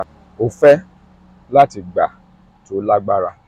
um o fẹ um lati gba to lagbara